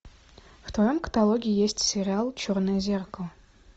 в твоем каталоге есть сериал черное зеркало